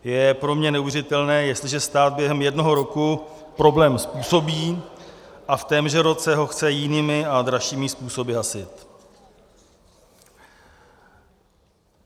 Je pro mě neuvěřitelné, jestliže stát během jednoho roku problém způsobí a v témže roce ho chce jinými a dražšími způsoby hasit.